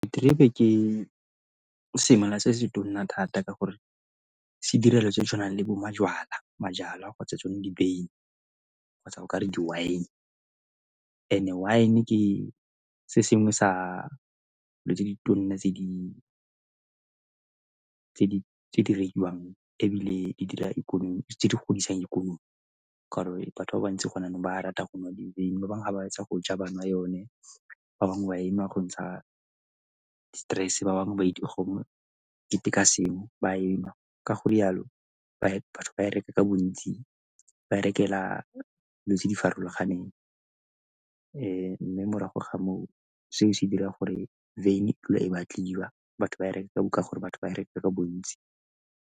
Diterebe ke semela se se tona thata ka gore se dira dilo tse di tshwanang le bo majwala kgotsa tsone di beine kgotsa o ka re di-wine. And-e wine ke se sengwe sa dilo tse di tona tse di rekiwang ebile di dira ikonomi, tse di godisang ikonomi ka gore batho ba bantsi go na le ba ba ratang go nwa dibeine, ba bangwe ga ba hetsa go ja ba nwa yone, ba bangwe ba enwa go ntsha di-stress-e, ba bangwe ba dipe ka sengwe ba enwa ka go rialo batho ba e reka ka bontsi. Ba e rekela dilo tse di farologaneng mme morago ga moo, se o se dira gore beine e batliwa, batho ba e reka ka gore batho ba reka ka bontsi